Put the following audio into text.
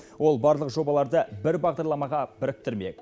ол барлық жобаларды бір бағдарламаға біріктірмек